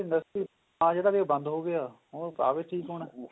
ਜਿਵੇਂ industry ਆ ਜਿਹੜਾ ਬੰਦ ਹੋ ਗਿਆ ਉਹਨੂੰ ਕਾਗਜ ਵਿੱਚ ਪਾਉਣਾ